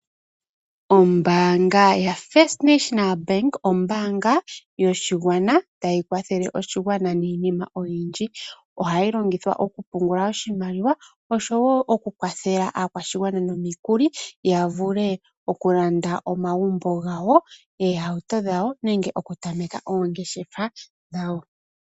Ombaanga yaFirst National Bank ombaanga tayi kwathele oshigwana niinima oyindji. Ohayi longithwa okupungula oshimaliwa osho wo okukwathela aakwashigwana nomikuli yavule okulanda omagumbo gawo, oohauto dhawo, nenge okutameka ongeshefa dhawo.